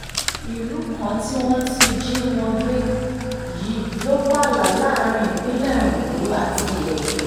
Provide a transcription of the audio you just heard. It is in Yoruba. ìlú kan tí wọ́n ti jí wọn gbé yìí ló pààlà láàrin ìpínlẹ̀ ondo àti edo